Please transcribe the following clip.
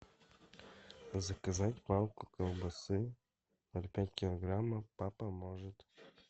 заказать палку колбасы ноль пять килограмма папа может